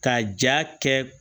Ka ja kɛ